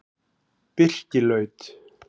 Birkilaut